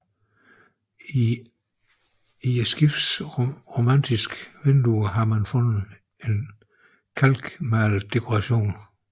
I skibets romanske vinduer har man fundet en kalkmalet dekoration